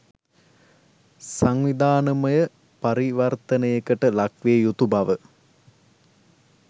සංවිධානමය පරිවර්තනයකට ලක්විය යුතු බව